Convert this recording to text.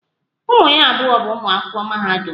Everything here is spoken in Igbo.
Ụmụ ha abụọ bụ ụmụ akwụkwọ mahadum